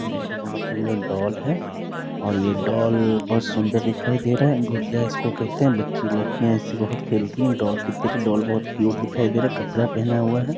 यहां पे बहुत सुंदर डॉल है और ये डॉल बहुत सुंदर दिखाई दे रहा है गुड़िया इसको कहते हैं बच्ची लड़कियां इससे बहुत खेलती है डॉल डॉल बहुत क्यूट दिखाई दे रहे हैं कपड़ा पहना हुआ है।